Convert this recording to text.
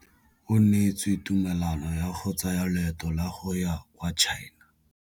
O neetswe tumalanô ya go tsaya loetô la go ya kwa China.